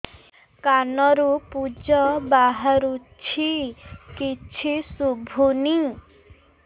କାନରୁ ପୂଜ ବାହାରୁଛି କିଛି ଶୁଭୁନି